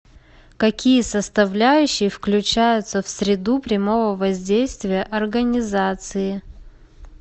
какие составляющие включаются в среду прямого воздействия организации